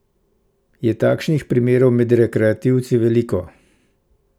Je takšnih primerov med rekreativci veliko?